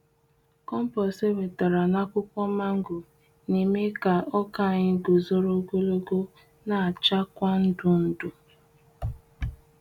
Kompost ewetere na akwụkwọ mango na eme ka ọka anyị guzoro ogologo na acha kwa ndụ ndụ.